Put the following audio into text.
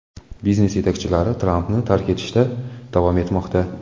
Biznes yetakchilari Trampni tark etishda davom etmoqda.